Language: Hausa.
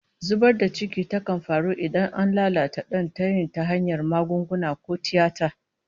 Zubar da ciki kan faru idan an lalata dan tayin ta hanyar magunguna ko tiyata